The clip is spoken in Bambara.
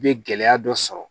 I bɛ gɛlɛya dɔ sɔrɔ